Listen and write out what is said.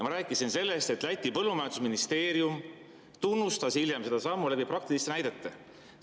Ma rääkisin sellest, et Läti põllumajandusministeerium tunnustas hiljem seda sammu praktiliste näidete kaudu.